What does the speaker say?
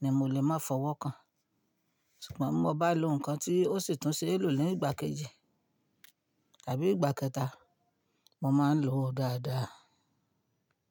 ni mo lè máa fọwọ́ kàn. Ṣùgbọ́n bí mo bá lo nǹkan tí ó sì tún ṣe é lò ní ìgbà kejì àbí ìgbà kẹta, mo máa lòó dáadáa.